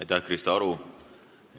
Aitäh, Krista Aru!